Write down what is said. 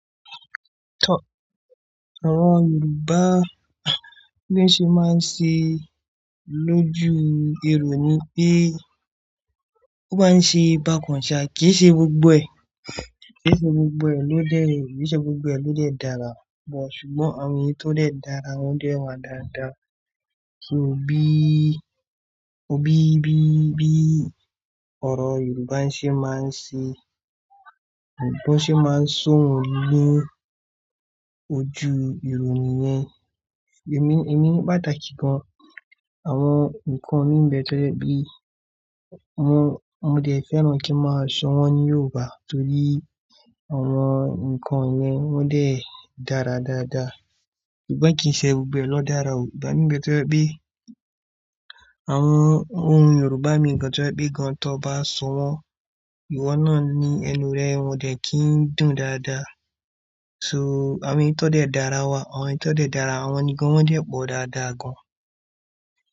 Àwọn Yorùbá bí wọ́n ṣe máa ń ṣe lójú ìrònú pé ó bá ń ṣe bákan ṣà kìí ṣe gbogbo ẹ̀. Kìí ṣe gbogbo ẹ̀ ló dẹ, kì í ṣe gbogbo ẹ̀ ló dẹ dára. But ṣùgbọ́n àwọn èyí tó dẹ dára wọ́n dẹ wá dáadáa. So bí, bí bí, bí ọ̀rọ̀ Yorùbá ṣe máa ń ṣe, bọ́n ṣe máa ń sọ òun lójú ìrònú yẹn. Ẹ̀mí, ẹ̀mí pàtàkì gan-an, àwọn nǹkan mi bẹ tẹ́lẹ̀ bí i, mo, mo dẹ̀ fẹ́ràn kí ń máa sọ wọ́n ní Yorùbá torí àwọn nǹkan yẹn wọ́n dẹ dára dáadáa. Ṣùgbọ́n kìí ṣe gbogbo ẹ̀ ló dára o. Ìgbá mi bẹ tẹ́jẹ̀ pé àwọn ohùn Yorùbá mi gan tẹ́jẹ̀ pé gan tọ́ba sọ wọ́n, ìwọ náà ni ẹnu rẹ ò dẹ̀ kí ń dùn dáadáa. So àwọn èyí tó dẹ dára wà, àwọn èyí tó dẹ dára, àwọn ni gan wọ́n dẹ̀ pọ̀ dáadáa gan.